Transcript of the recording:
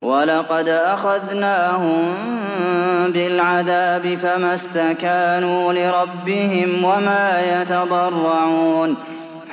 وَلَقَدْ أَخَذْنَاهُم بِالْعَذَابِ فَمَا اسْتَكَانُوا لِرَبِّهِمْ وَمَا يَتَضَرَّعُونَ